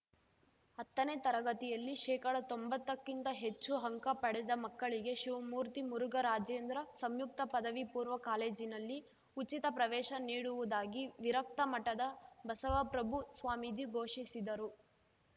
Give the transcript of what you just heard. ಹತ್ತನೇ ತರಗತಿಯಲ್ಲಿ ಶೇಕಡತೊಂಬತ್ತಕ್ಕಿಂತ ಹೆಚ್ಚು ಅಂಕ ಪಡೆದ ಮಕ್ಕಳಿಗೆ ಶಿವಮೂರ್ತಿ ಮುರುಘರಾಜೇಂದ್ರ ಸಂಯುಕ್ತ ಪದವಿ ಪೂರ್ವ ಕಾಲೇಜಿನಲ್ಲಿ ಉಚಿತ ಪ್ರವೇಶ ನೀಡುವುದಾಗಿ ವಿರಕ್ತ ಮಠದ ಬಸವಪ್ರಭು ಸ್ವಾಮೀಜಿ ಘೋಷಿಸಿದರು